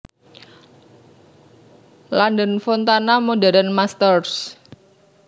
London Fontana Modern Masters